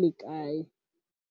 le kae.